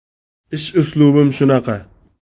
Ish uslubim shunaqa”.